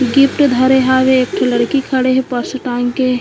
gift धरे हावे एक ठो लड़की खड़े हे पर्स टांग के--